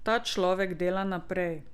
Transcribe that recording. Ta človek dela naprej.